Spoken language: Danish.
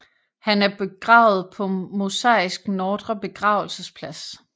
Han er begravet på Mosaisk Nordre Begravelsesplads